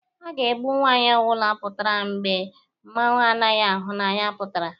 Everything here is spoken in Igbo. A ga-egbu nwaanyị ọbụna pụatara mgbe mmanwụ anaghị ahụ anya pụtara